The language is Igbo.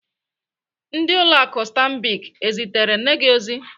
Ndị ụlọ akụ Stambic ezitere nne gi ozi?